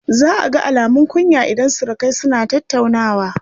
Za a ga alumun kunya idan surukai suna tattaunawa.